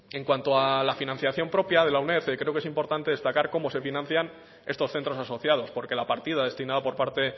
en cuanto a la financiación propia de la uned creo que es importante destacar cómo se financian estos centros asociados porque la partida destinada por parte